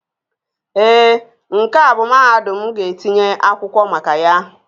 Ee, nke a bụ mahadum m ga-etinye akwụkwọ maka ya